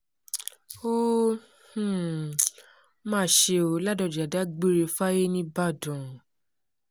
ó um mà ṣe ọ́ ládọ́já dágbére fáyé nìbàdàn